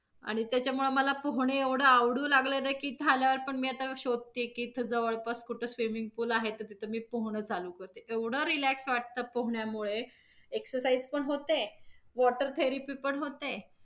आणि त्याच्यामुळे मला पोहणे एवढं आवडू लागलं न की इथ आल्यावर पण मी आता शोधते की इथ जवळपास कुठ swiming pool आहे तर तिथं मी पोहणं चालू करेन एवढं relax वाटतं पोहण्यामुळे excercise पण होते water therepy पण होते,